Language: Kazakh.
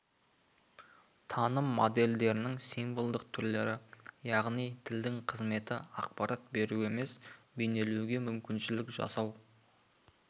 таным модельдерінің символдық түрлері яғни тілдің қызметі ақпарат беру емес бейнелеуге мүмкіншілік жасау